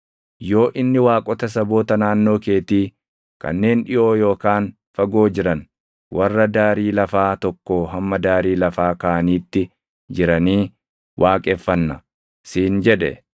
yoo inni waaqota saboota naannoo keetii, kanneen dhiʼoo yookaan fagoo jiran, warra daarii lafaa tokkoo hamma daarii lafaa kaaniitti jiranii waaqeffanna, siin jedhe,